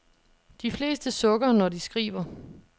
De fleste sukker, når de skriver.